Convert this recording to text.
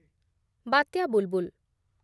ବାତ୍ୟା ବୁଲ୍‌ବୁଲ୍